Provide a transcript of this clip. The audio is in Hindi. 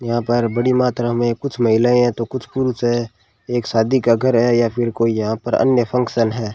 यहां पर बड़ी मात्रा में कुछ महिलाएं है तो कुछ पुरुष है एक शादी का घर है या फिर कोई यहां पर अन्य फंक्शन है।